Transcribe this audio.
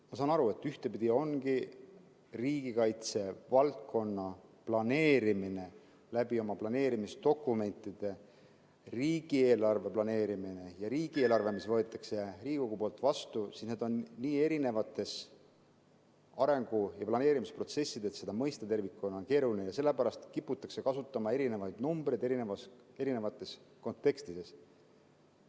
Ma saan aru, et ühtpidi ongi riigikaitse valdkonna planeerimine oma planeerimisdokumentidega ning riigieelarve planeerimine ja riigieelarve, mis võetakse Riigikogus vastu, nii erinevad arengu‑ ja planeerimisprotsessid, et seda tervikuna mõista on keeruline ja sellepärast kiputakse kasutama erinevaid numbreid erinevas kontekstis.